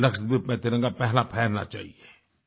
लक्षद्वीप में तिरंगा पहला फहरना चाहिए